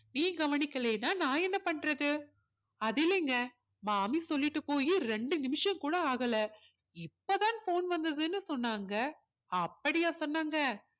நீ கவனிக்கலையினா நான் என்ன பண்றது அது இல்லைங்க மாமி சொல்லிட்டு போய் ரெண்டு நிமிஷம் கூட ஆகல இப்போதான் phone வந்ததுன்னு சொன்னாங்க அப்படியா சொன்னாங்க